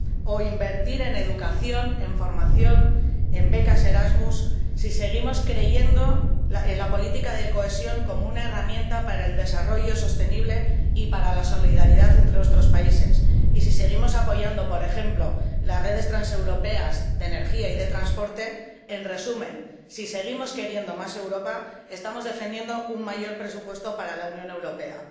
o invertir en educación, en formación y en becas Erasmus, si seguimos creyendo en la política de cohesión como una herramienta para el desarrollo sostenible y para la solidaridad entre nuestros países, y si seguimos apoyando, por ejemplo, las redes transeuropeas de energía y de transporte, en resumen, si seguimos queriendo más Europa, estamos defendiendo un mayor presupuesto para la Unión Europea.